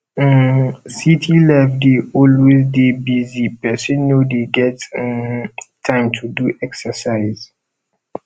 um city life dey always dey busy pesin no dey get um time to do exercise